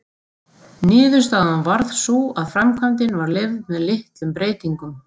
Niðurstaðan varð sú að framkvæmdin var leyfð með litlum breytingum.